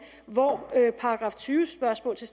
hvor § tyve spørgsmål til